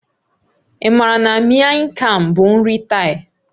Ị maara na Miang kham bụ nri Thai?